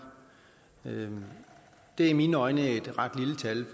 det er i mine øjne et ret